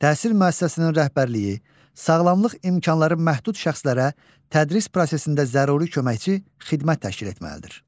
Təhsil müəssisəsinin rəhbərliyi sağlamlıq imkanları məhdud şəxslərə tədris prosesində zəruri köməkçi xidmət təşkil etməlidir.